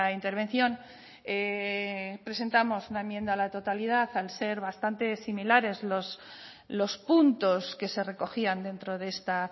intervención presentamos una enmienda a la totalidad al ser bastante similares los puntos que se recogían dentro de esta